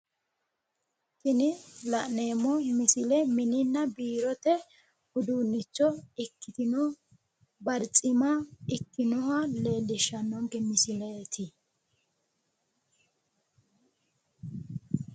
Tini la'neemmo misile mininna biirote uduunnicho ikkitino barcima ikkinoha leellishshannonke misileeti.